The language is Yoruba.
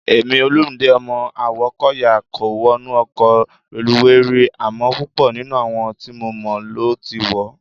Èmi, Olumide ọmọ Awókọ̀yà kò wọnú ọkọ̀ reluwé rí, àmọ́ púpọ̀ nínú àwọn tí mo mọ̀ ló ti wọ̀ ọ́.